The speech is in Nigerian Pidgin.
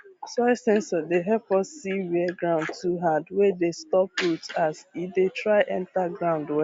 soil sensor dey help us see where ground too hard wey dey stop root as e dey try enter ground well